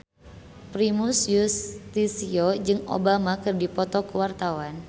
Primus Yustisio jeung Obama keur dipoto ku wartawan